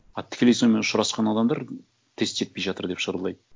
а тікелей сонымен ұшырасқан адамдар тест жетпей жатыр деп шырылдайды